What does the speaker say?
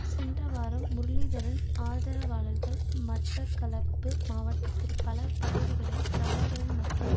சென்ற வாரம் முரளிதரன் ஆதரவாளர்கள் மட்டக்களப்பு மாவட்டத்தில் பல பகுதிகளில் பிரபாகரன் மற்றும்